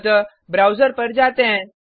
अतः ब्राउज़र पर जाते हैं